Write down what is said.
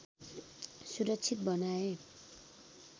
सुरक्षित बनाए